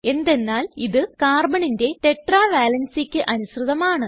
എന്തെന്നാൽ ഇത് Carbonന്റെ ടെട്ര valencyക്ക് അനുസൃതമാണ്